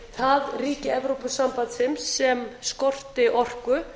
það ríki evrópusambandsins sem skorti orku